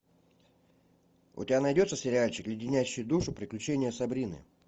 у тебя найдется сериальчик леденящие душу приключения сабрины